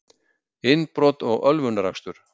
Innbrot og ölvunarakstur